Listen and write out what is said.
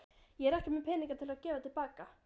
Ég er ekki með peninga til að gefa til baka.